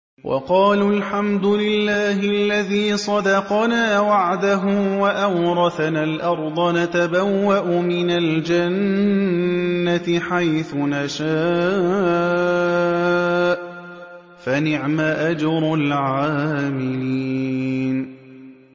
وَقَالُوا الْحَمْدُ لِلَّهِ الَّذِي صَدَقَنَا وَعْدَهُ وَأَوْرَثَنَا الْأَرْضَ نَتَبَوَّأُ مِنَ الْجَنَّةِ حَيْثُ نَشَاءُ ۖ فَنِعْمَ أَجْرُ الْعَامِلِينَ